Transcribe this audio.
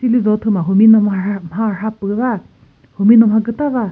lizo thüma humino mha rha pü va humino mha küta va.